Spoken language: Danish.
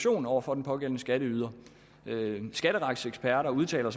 over for den pågældende skatteyder skatteretseksperter udtaler